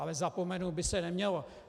Ale zapomenout by se nemělo.